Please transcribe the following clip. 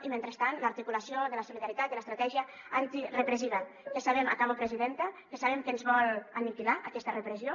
i mentrestant l’articulació de la solidaritat i l’estratègia antirepressiva que sabem acabo presidenta que ens vol aniquilar aquesta repressió